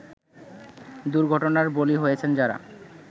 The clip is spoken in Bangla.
দুর্ঘটনার বলি হয়েছেন যারা